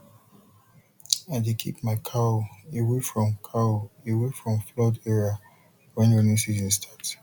i dey keep my cow away from cow away from flood area when rainy season start